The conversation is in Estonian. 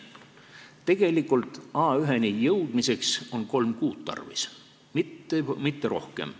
Tegelikult on A1-ni jõudmiseks tarvis kolme kuud, mitte rohkem.